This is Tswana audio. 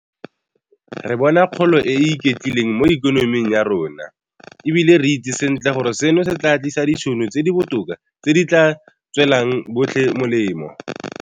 Re bona kgolo e e iketlileng mo ikonoming ya rona, e bile re itse sentle gore seno se tla tlisa ditšhono tse di botoka tse di tla tswelang botlhe molemo.